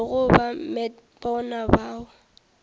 tlogo ba met bona bao